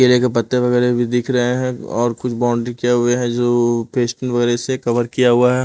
केले के पत्ते वगैरह भी दिख रहे हैं और कुछ बाउंड्री किए हुए है जो पेस्ट वगैरह से कवर किया हुआ है।